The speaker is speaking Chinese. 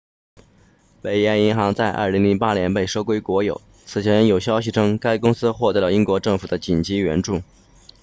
北岩银行在2008年被收归国有此前有消息称该公司获得了英国政府的紧急援助